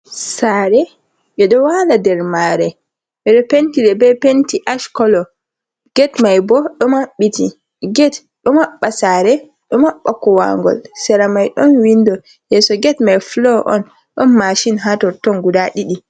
Sare ɓeɗo wala nder mare, ɓeɗo penti nde be penti ash kolo, ged mai bo ɗo maɓɓiti. Ged ɗo maɓɓa sare, ɗo maɓɓa kowangol. Sera mai ɗon windo, yeso ged mai fulo on. Ɗon mashin ha totton guda ɗiɗi.